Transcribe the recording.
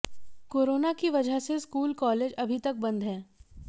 corona की वजह से स्कूल कॉलेज अभी तक बंद है